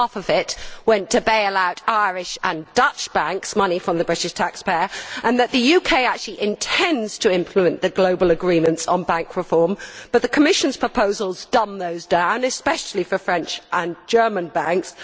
nearly half of it went on bailing out Irish and Dutch banks money from the British taxpayer and that the UK actually intends to implement the global agreements on bank reform, but the Commission's proposals dumb those down, especially for French and German banks.